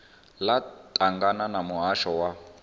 ḽo ṱangana na muhasho wa